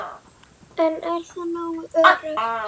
En er það nógu öruggt?